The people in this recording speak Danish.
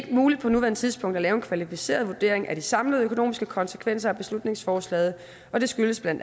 muligt på nuværende tidspunkt at lave en kvalificeret vurdering af de samlede økonomiske konsekvenser af beslutningsforslaget og det skyldes bla